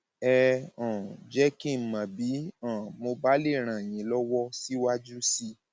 ẹ um jẹ kí n mọ bí um mo bá lè ràn yín lọwọ síwájú sí i